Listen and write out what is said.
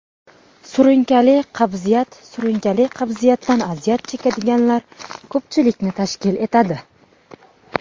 Surunkali qabziyat Surunkali qabziyatdan aziyat chekadiganlar ko‘pchilikni tashkil etadi.